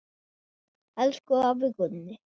Elsku afi Gunni.